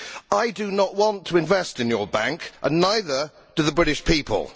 I do not want to invest in your bank and neither do the British people.